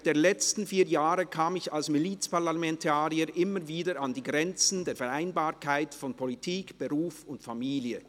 Während der letzten vier Jahre kam ich als Milizparlamentarier immer wieder an die Grenzen der Vereinbarkeit von Politik, Beruf und Familie.